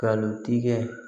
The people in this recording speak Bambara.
Nkalon tigɛ